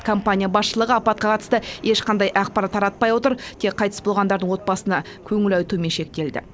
компания басшылығы апатқа қатысты ешқандай ақпарат таратпай отыр тек қайтыс болғандардың отбасына көңіл айтумен шектелді